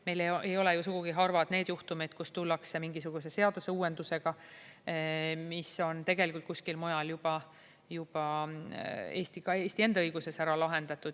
Meil ei ole ju sugugi harvad need juhtumid, kus tullakse mingisuguse seaduse uuendusega, mis on tegelikult kuskil mujal juba, ka Eesti enda õiguses ära lahendatud.